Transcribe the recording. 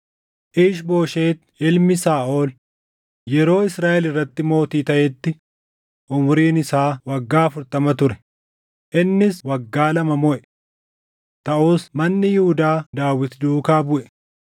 Iish-Booshet ilmi Saaʼol yeroo Israaʼel irratti mootii taʼetti umuriin isaa waggaa afurtama ture; innis waggaa lama moʼe. Taʼus manni Yihuudaa Daawit duukaa buʼe.